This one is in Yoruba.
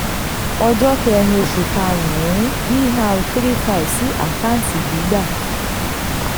ọjọ́ kẹ́rin oṣù karùn-ún: dr three five sí àkáǹtì gbígbà